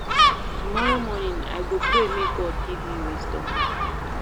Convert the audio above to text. Tomorrow morning, I go pray make God give me wisdom.